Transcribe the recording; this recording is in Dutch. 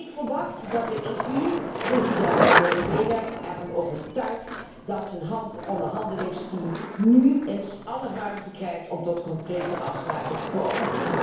Ik verwacht dat de EU president Medvedev ervan overtuigt dat zijn onderhandelingsteam nu alle ruimte krijgt om tot concrete afspraken te komen.